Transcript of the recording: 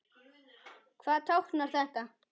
Hvað táknar þetta?